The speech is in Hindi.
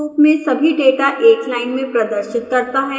strings के रूप में सभी डेटा एक लाइन में प्रदर्शित करता है